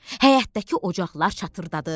Həyətdəki ocaqlar çatırdadı.